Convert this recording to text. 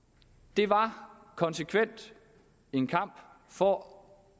det var konsekvent en kamp for